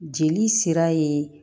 Jeli sira ye